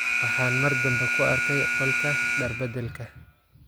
Waxaan mar dambe ku arkay qolka dhaar beddelka.